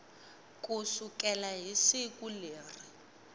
ku sukela hi siku leri